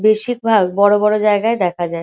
বেশিরভাগ বড় বড় জায়গায় দেখা যায়।